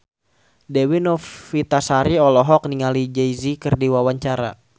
Dewi Novitasari olohok ningali Jay Z keur diwawancara